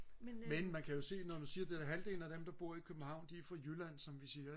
men man kan jo se når du siger halvdelen af dem der bor i københavn de er fra jylland som vi siger